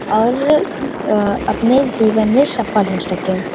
और अह् अपने जीवन में सफल हो सके।